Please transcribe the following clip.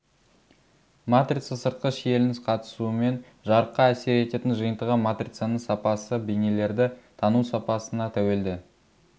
матрица сыртқы шиеленіс қатысуымен жарыққа әсер ететін жиынтығы матрицаның сапасы бейнелерді тану сапасына тәуелді